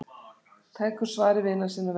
Tekur svari vina sinna og velgjörðamanna.